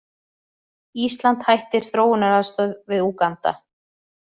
Ísland hætti þróunaraðstoð við Úganda